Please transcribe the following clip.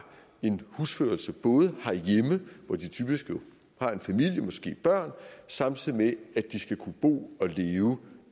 en husførelse herhjemme hvor de typisk har en familie og måske børn samtidig med at de skal kunne bo og leve